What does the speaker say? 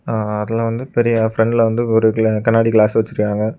அ அதுல வந்து பெரிய ப்ரண்ட்ல வந்து ஒரு கிள கண்ணாடி கிளாஸ் வச்சிருக்காங்க.